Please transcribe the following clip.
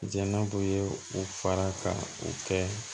Jɛnɛ kun ye u fara ka u kɛ